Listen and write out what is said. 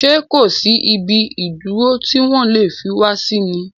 Ṣé kòsí ibi ìdúró tí wọ́n lè fi wá sí ni?